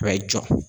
A bɛ jɔ